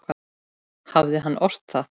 Hann hafði ort það.